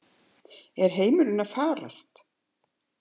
Er heimurinn að farast?